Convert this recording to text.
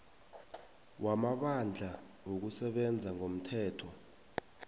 wamabandla wokusebenza ngomthetho